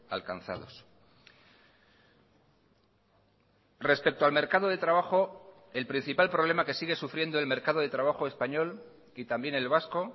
alcanzados respecto al mercado de trabajo el principal problema que sigue sufriendo el mercado de trabajo español y también el vasco